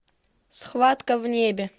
схватка в небе